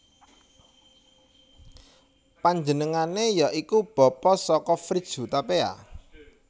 Panjenengane ya iku bapa saka Fritz Hutapea